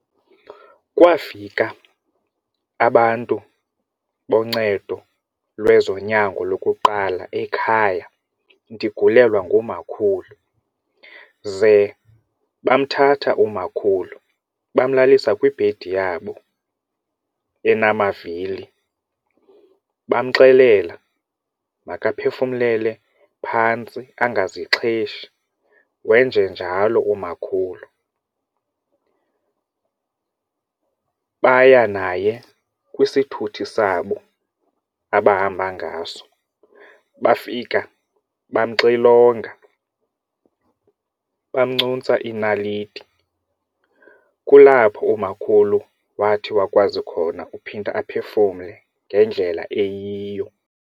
Kwafika abantu boncedo lwezonyango lokuqala ekhaya ndigulelwa ngumakhulu ze bamthathe umakhulu bamlalisa kwebhedi yabo enamavili bamxelela makaphefumlele phantsi ungazixheshi wenje njalo umakhulu, baya naye kwisithuthi sabo abahamba ngaso bafika bamxilonga bamncuntsa iinaliti. Kulapho umakhulu wathi wakwazi khona uphinda aphefumle ngendlela eyiyo.